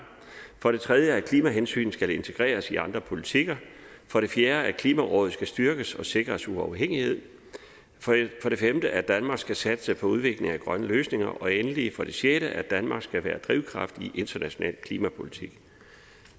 for det tredje at klimahensyn skal integreres i andre politikker for det fjerde at klimarådet skal styrkes og sikres uafhængighed for det femte at danmark skal satse på udvikling af grønne løsninger og endelig for det sjette at danmark skal være drivkraft i international klimapolitik